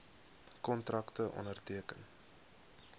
kontrakte onderteken